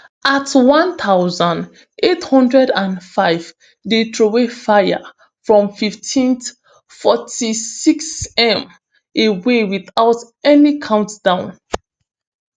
at one thousand, eight hundred and five dey troway fire from fifteenth forty-six m away witout any countdown